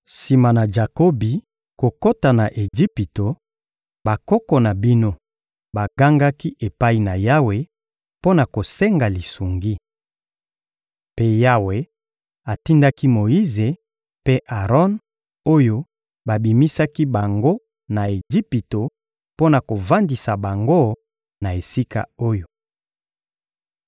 Sima na Jakobi kokota na Ejipito, bakoko na bino bagangaki epai na Yawe mpo na kosenga lisungi. Mpe Yawe atindaki Moyize mpe Aron oyo babimisaki bango na Ejipito mpo na kovandisa bango na esika oyo.